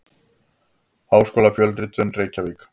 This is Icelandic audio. Háskólafjölritun: Reykjavík.